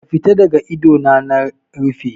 Ka fita daga ido na in rufe.